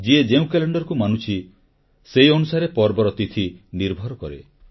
ଯିଏ ଯେଉଁ କ୍ୟାଲେଣ୍ଡରକୁ ମାନୁଛି ସେଇ ଅନୁସାରେ ପର୍ବର ତିଥି ନିର୍ଭର କରେ